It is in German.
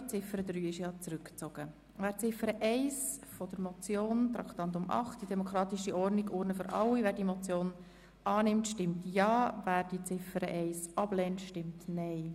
Wer Ziffer 1 der Motion annehmen will, stimmt Ja, wer sie ablehnt, stimmt Nein.